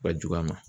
Ka jugu a ma